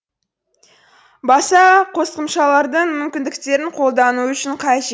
басқа қосымшалардың мүмкіндіктерін қолдану үшін қажет